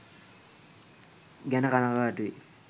ගැන කනගාටුයි.